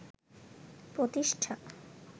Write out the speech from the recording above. প্রতিষ্ঠা